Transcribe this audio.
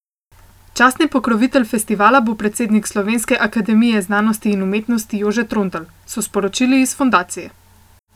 Častni pokrovitelj festivala bo predsednik Slovenske akademije znanosti in umetnosti Jože Trontelj, so sporočili iz fundacije.